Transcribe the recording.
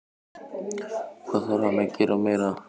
Hvað þarf hann að gera meira?